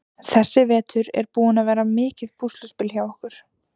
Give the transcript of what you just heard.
Þessi vetur er búinn að vera mikið púsluspil hjá okkur.